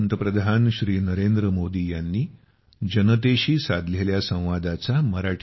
social मिडियावर आम्हाला follow करा